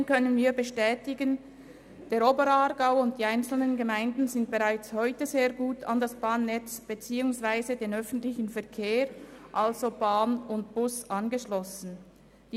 Trotzdem können wir bestätigen, dass der Oberaargau und die einzelnen Gemeinden sehr gut ans Bahnnetz beziehungswiese den ÖV, also Bahn und Bus, angeschlossen sind.